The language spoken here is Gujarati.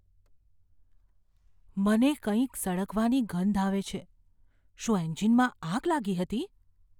મને કંઈક સળગવાની ગંધ આવે છે. શું એન્જિનમાં આગ લાગી હતી?